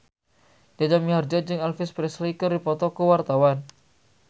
Jaja Mihardja jeung Elvis Presley keur dipoto ku wartawan